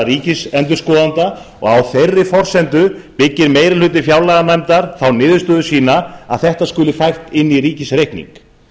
ríkisendurskoðanda og á þeirri forsendu byggir meiri hluti fjárlaganefndar þá niðurstöðu sína að þetta skuli fært inn í ríkisreikning